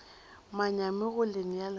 manyami go le nea lengwalo